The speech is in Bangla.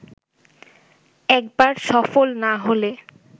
একবার সফল না হলে